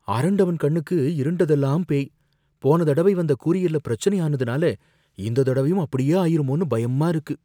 அரண்டவன் கண்ணுக்கு இருண்டதெல்லாம் பேய்! போன தடவை வந்த கூரியர்ல பிரச்சனை ஆனதுனால, இந்த தடவையும் அப்படியே ஆயிருமோன்னு பயமா இருக்கு.